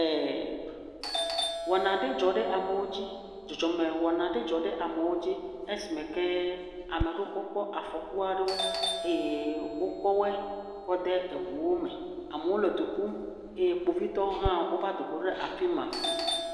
ɛɛɛ. Wɔna aɖe dzɔ ɖe amewo dzi. Dzɔdzɔme wɔna aɖe dzɔ ɖe amewo dzi esime kea me aɖewokpɔ afɔku aɖewo. Eye wokɔwɔɛ kɔ da ɖe eŋuwo me. Amewo le du ƒum eye Kpovitɔwo hã wova do ɖe afi ma.